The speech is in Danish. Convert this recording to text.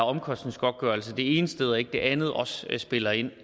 omkostningsgodtgørelse det ene sted og ikke det andet også spiller ind